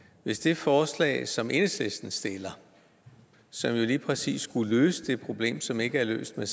hvis det forslag som enhedslisten stiller som jo lige præcis skulle løse det problem som ikke er løst med